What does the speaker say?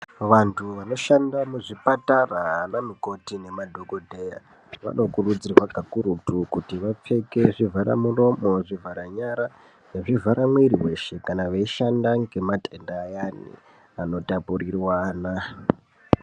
Vantu vanoshanda muzvipatara ana mukoti nemadhogodheya vanokurudzirwa kakurutu. Kuti vapfeke zvivhara muromo, zvivhara nyara nezvivhara mwiri veshe. Kana veishanda ngematenda ayani anotapurirwana.